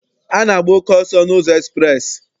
A na-agba oke ọsọ n'ụzọ ekspreesị.